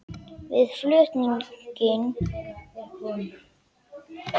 Við flutning greinist bergmylsnan í samræmi við straumhraða eftir kornastærð.